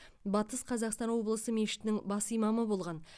батыс қазақстан облысы мешітінің бас имамы болған